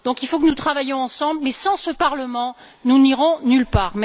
Il faut donc que nous travaillions ensemble, mais sans ce Parlement, nous n'irons nulle part.